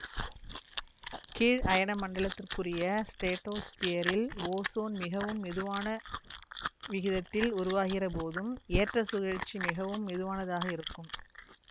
கீழ் அயனமண்டலத்துக்குரிய ஸ்ட்ரேடோஸ்பியரில் ஓசோன் மிகவும் மெதுவான விகிதத்தில் உருவாகிற போதும் ஏற்றச் சுழற்சி மிகவும் மெதுவானதாக இருக்கும்